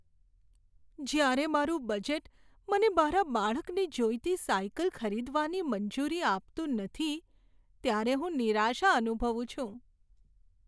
જ્યારે મારું બજેટ મને મારા બાળકને જોઈતી સાયકલ ખરીદવાની મંજૂરી આપતું નથી, ત્યારે હું નિરાશા અનુભવું છું.